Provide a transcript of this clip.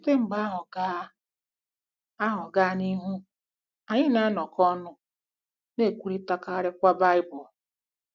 Site mgbe ahụ gaa ahụ gaa n'ihu, anyị na-anọkọ ọnụ, na-ekwurịtakarịkwa Baịbụl.